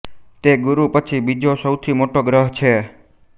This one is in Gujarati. તે ગુરુ પછી બીજો સૌથી મોટો ગ્રહ છે